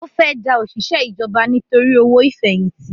Ó fẹ́ da òṣìṣẹ́ ìjọba nítorí owó ìfẹ̀yìntì